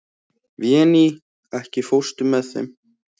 Véný, ekki fórstu með þeim?